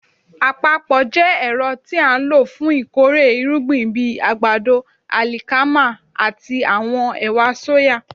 Àpapọ̀ jẹ́ ẹ̀rọ tí a ń lò fún ìkórè irúgbìn bíi àgbàdo, àlìkámà àti àwọn ẹ̀wà sóyà.